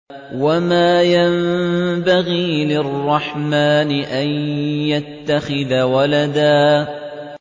وَمَا يَنبَغِي لِلرَّحْمَٰنِ أَن يَتَّخِذَ وَلَدًا